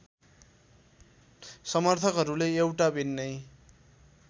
समर्थकहरूले एउटा भिन्नै